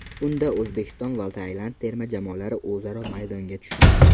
Unda O‘zbekiston va Tailand terma jamoalari o‘zaro maydonga tushdi.